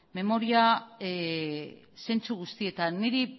memoria zentsu guztietan niri